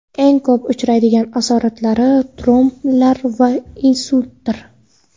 Eng ko‘p uchraydigan asoratlari tromblar va insultdir.